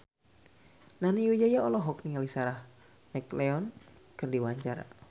Nani Wijaya olohok ningali Sarah McLeod keur diwawancara